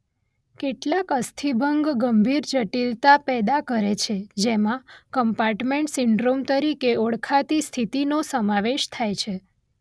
કેટલાક અસ્થિભંગ ગંભીર જટિલતા પેદા કરે છે જેમાં કમ્પાર્ટમેન્ટ સિન્ડ્રોમ તરીકે ઓળખાતી સ્થિતિનો સમાવેશ થાય છે.